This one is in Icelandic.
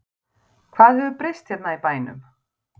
Hvað hefur breyst hérna í bænum?